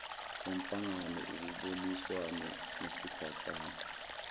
wenhlangano kuboniswane ngesigatshana